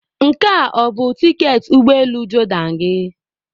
Nke a ọ bụ tiketi ụgbọ elu Jordan gị?